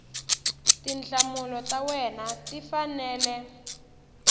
tinhlamulo ta wena ti fanele